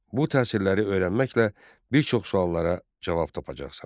Bu təsirləri öyrənməklə bir çox suallara cavab tapacaqsan.